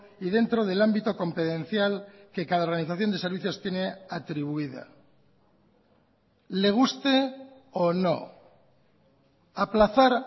y dentro del ámbito competencial que cada organización de servicios tiene atribuida le guste o no aplazar